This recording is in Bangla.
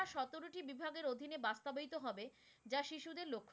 তরুটি বিভাগের অধীনে বাস্তবায়িত হবে যা শিশুদের লক্ষ্য,